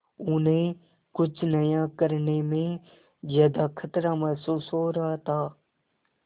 उन्हें कुछ नया करने में ज्यादा खतरा महसूस हो रहा था